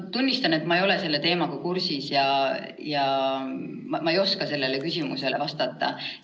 Ma tunnistan, et ma ei ole selle teemaga kursis ja ma ei oska sellele küsimusele vastata.